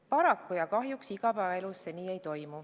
Paraku igapäevaelus see nii ei ole.